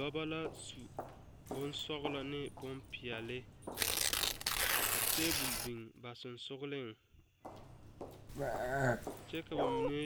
Dɔba la su boŋ sɔglɔ ane boŋpeɛle ka tabol biŋ ba sɔŋsɔgliŋ kyɛ ka ba mine